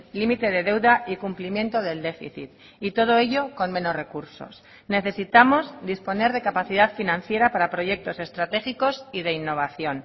límite de deuda y cumplimiento del déficit y todo ello con menos recursos necesitamos disponer de capacidad financiera para proyectos estratégicos y de innovación